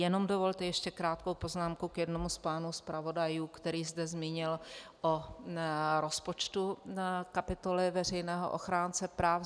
Jenom dovolte ještě krátkou poznámku k jednomu z pánů zpravodajů, který zde se zmínil o rozpočtu kapitoly veřejného ochránce práv.